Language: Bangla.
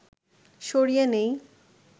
সরিয়ে নেই